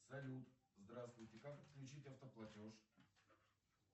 салют здравствуйте как подключить автоплатеж